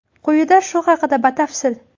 Quyida shu haqida batafsil.